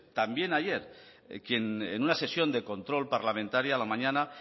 también ayer quien en una sesión de control parlamentaria a la mañana